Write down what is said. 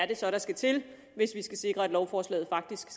det så er der skal til hvis vi skal sikre at lovforslaget faktisk